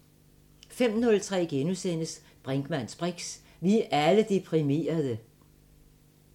05:03: Brinkmanns briks: Vi er alle deprimerede! *